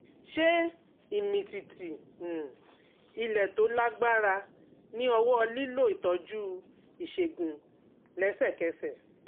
Ṣé ìmìtìtì um ilẹ̀ tó lágbára ní ọwọ́ nílò ìtọ́jú ìṣègùn lẹ́sẹ̀kẹsẹ̀?